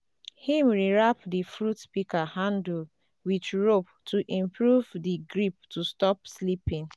him rewrap di fruit pika handle with rope to improve di grip to stop slipping